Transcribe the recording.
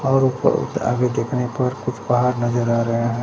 और ऊपर आगे देखने पर कुछ पहाड़ नजर आ रहे हैं।